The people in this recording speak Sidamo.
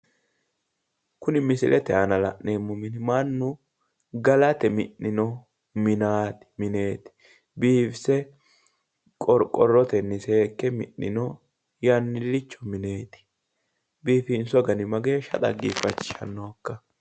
Kuni misilete aana la'neemmo mini mannu galate mi'nino mineeti biifise qorqorrotenni seekke mi'nino yannillicho mineeti. Biifinso gari mageeshsha dhageeffachishannonkka?